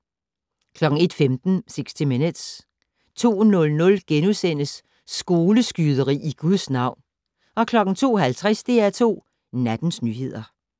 01:15: 60 Minutes 02:00: Skoleskyderi i Guds navn * 02:50: DR2 Nattens nyheder